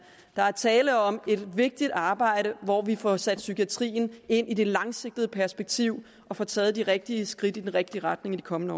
er tale om et vigtigt arbejde hvor vi får sat psykiatrien ind i det langsigtede perspektiv og får taget de rigtige skridt i den rigtige retning i de kommende